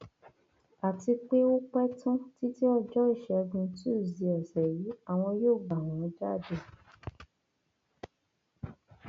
àti pé ó pẹ tán títí ọjọ ìṣẹgun túṣídéé ọsẹ yìí àwọn yóò gbà wọn jáde